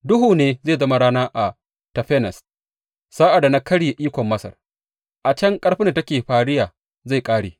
Duhu ne zai zama rana a Tafanes sa’ad da na karye ikon Masar; a can ƙarfin da take fariya zai ƙare.